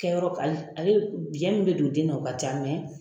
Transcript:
Kɛyɔrɔ ale ale biyɛ min bɛ don den na u ka ca